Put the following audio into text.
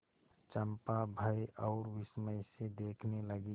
चंपा भय और विस्मय से देखने लगी